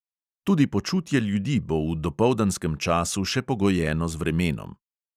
Tudi počutje ljudi bo v dopoldanskem času še pogojeno z vremenom.